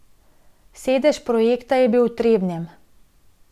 Sedež projekta je bil v Trebnjem.